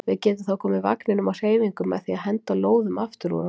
Við getum þá komið vagninum á hreyfingu með því að henda lóðum aftur úr honum.